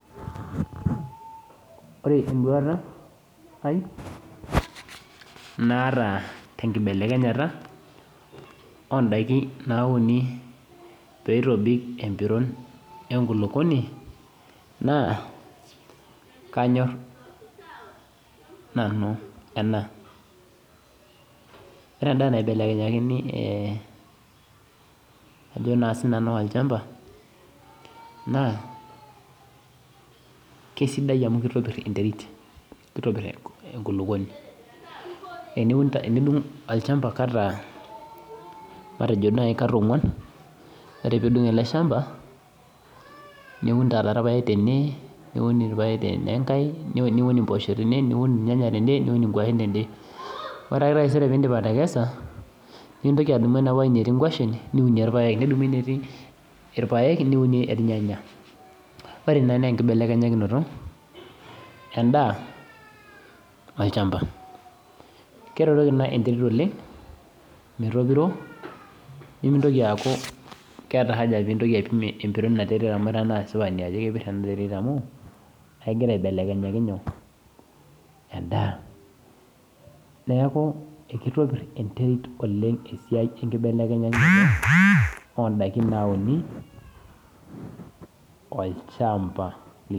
Orebenduata aai naata tenkibelekenyata ondakin nauni peitobik empironbenkulukuoni na kanyor nanu ena ore endaa naibelekenyeki olchambakesidai amu kitopir enterit kitopir enkulukuoni teneaku itudungo enkulukuoni katitin onguan ore pilo adung eleshamba niun irpaek tene ore enkae niun mpoosho tene niun irnyanya tene niun nkwashen tene ore taisere pidip atekesa nintoki adumu enaapo woi natii nkwashen niun irpaek ore enetii iroaek niunie irnyanya ore ena na enkibelekenyito endaa olchamba keretoki ina enterit metopiro nitoki aaku keeta aja pintoki aipim enterit ino amu kepir amu kegira aibelekenyaki nyoo endaa neaku kitopir oleng enterit enkibelekenyata enterit tolchamba lino.